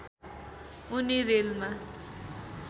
उनी रेलमा